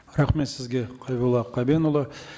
рахмет сізге қайролла қабенұлы